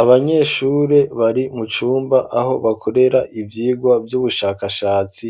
Abanyeshuri bari mu cumba aho bakorera ivyigwa vy'ubushakashatsi